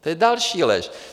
To je další lež!